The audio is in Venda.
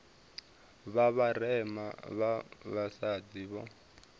vha vharema vha vhasadzi vho